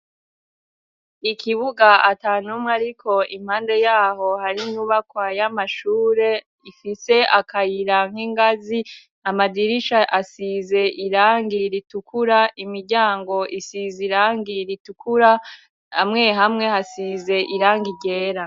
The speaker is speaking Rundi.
Ikibuga atanumwe ariko, impande yaho hari inyubakwa y'amashure ifise akayira n'ingazi, amadirisha asize irangi ritukura, imiryango isize irangi ritukura hamwe hamwe hasize irangi ryera.